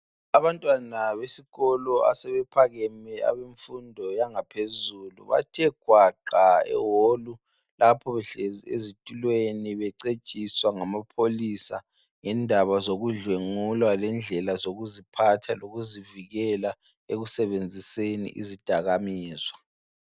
Abantwana besikolo asebephakame, abemfundo yangaphezulu, bathwe gwaqa eholu, lapha behlezi ezitulweni becetshiswa ngamapholisa ngendaba zokudlwengulwa lendlela zokuziphatha lokuzivikela ekusebenziseni izidakamizwa.